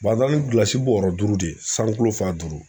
an taara ni gilasi bɔrɔ duuru de ye, san kulo fa duuru.